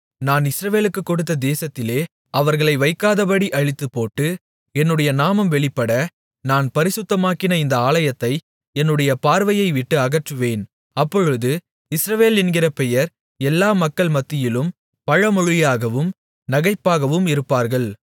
நான் இஸ்ரவேலுக்குக் கொடுத்த தேசத்திலே அவர்களை வைக்காதபடி அழித்துப்போட்டு என்னுடைய நாமம் வெளிப்பட நான் பரிசுத்தமாக்கின இந்த ஆலயத்தை என்னுடைய பார்வையைவிட்டு அகற்றுவேன் அப்பொழுது இஸ்ரவேல் என்கிற பெயர் எல்லா மக்கள் மத்தியிலும் பழமொழியாகவும் நகைப்பாகவும் இருப்பார்கள்